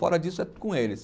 Fora disso, é com eles.